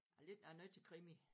Jeg lidt jeg er noget til krimi